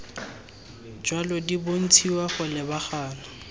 jalo di bontshiwa go lebagana